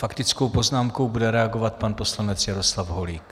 Faktickou poznámkou bude reagovat pan poslanec Jaroslav Holík.